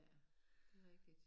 Ja det rigtig